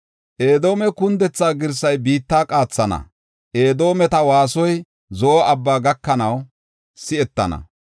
Edoome kundethaa girsay biitta qaathana; Edoometa waasoy Zo7o Abbaa gakanaw si7etana.